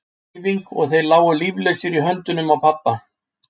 Ein snögg hreyfing og þeir lágu líflausir í höndunum á pabba.